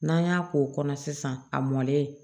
N'an y'a k'o kɔnɔ sisan a mɔlen